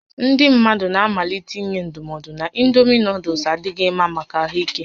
Ndị mmadụ na-amalite inye ndụmọdụ na indomi nuuduls adịghị mma maka ahụ ike